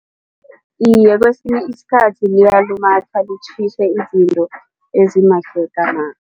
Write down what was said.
Iye, kwesinye isikhathi liyalumatha litjhise izinto ezimagegena.